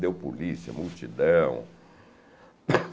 Deu polícia, multidão.